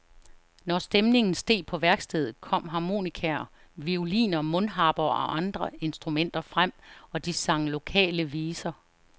Når stemningen steg på værkstedet, kom harmonikaer, violiner, mundharper og andre instrumenter frem, og de sang lokale viser.